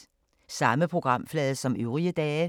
Samme programflade som øvrige dage